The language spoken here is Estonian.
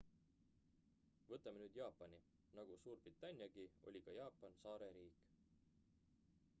võtame nüüd jaapani nagu suurbritanniagi oli ka jaapan saareriik